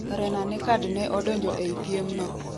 Rena Nekkad ne odonjo ei piem no